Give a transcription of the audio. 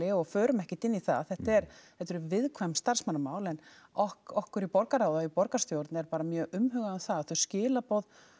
og förum ekkert inn í það þetta eru þetta eru viðkvæm starfsmannamál en okkur okkur í borgarráði og borgarstjórn er bara mjög umhugað um það að þau skilaboð